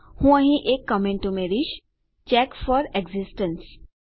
હું અહીં એક કમેંટ ઉમેરીશ ચેક ફોર એક્સિસ્ટન્સ